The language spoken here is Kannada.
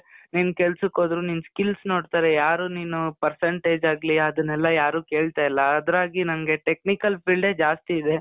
ನೀನ್ ಕೆಲ್ಸಕ್ ಹೋದ್ರು ನಿನ್ skills ನೋಡ್ತಾರೆ. ಯಾರು ನೀನು percentage ಆಗ್ಲಿ ಅದನ್ನೆಲ್ಲ ಯಾರು ಕೇಳ್ತಾ ಇಲ್ಲ. ಅದ್ರಾಗಿ ನನ್ಗೆ technical field ಜಾಸ್ತಿ ಇದೆ.